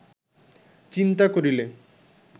চিন্তা করিলে